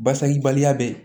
Basakibaliya bɛ ye